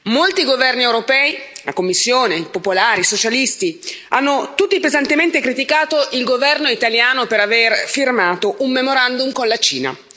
Molti governi europei, la Commissione, i popolari e i socialisti hanno tutti pesantemente criticato il governo italiano per aver firmato un memorandum con la Cina.